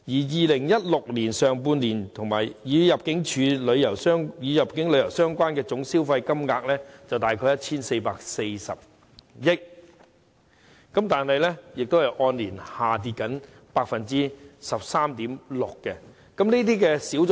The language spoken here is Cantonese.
2016年上半年與入境旅遊相關的總消費金額約為 1,440 億港元，但亦按年下跌 13.6%。